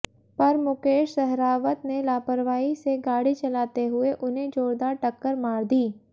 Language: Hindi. पर मुकेश सहरावत ने लापरवाही से गाड़ी चलाते हुए उन्हें जोरदार टक्कर मार दी